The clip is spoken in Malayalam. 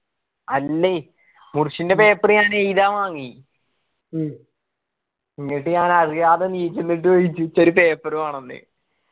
അല്ലേ മുർശിന്റെ paper ഞാൻ എയിതാന്‍ വാങ്ങി എന്നിട്ട് ഞാൻ അറിയാതെ എണീച്ചിന്നിട്ട് ചോദിച്ച് ഇച്ചൊരു paper വേണം ന്ന്‌